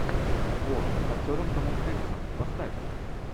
о с актером томом хенксом поставь